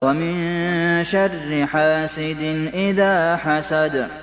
وَمِن شَرِّ حَاسِدٍ إِذَا حَسَدَ